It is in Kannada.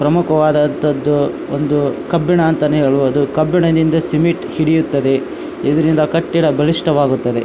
ಪ್ರಮುಖವಾದದ್ದು ಒಂದು ಕಬ್ಬಿಣ ಅಂತಾನೆ ಹೇಳಬಹುದು ಕಬ್ಬಿಣದಿಂದ ಸಿಮೆಂಟ್ ಹಿಡಿಯುತ್ತದೆ ಇದರಿಂದ ಕಟ್ಟಡ ಬಲಿಷ್ಠವಾಗುತ್ತದೆ.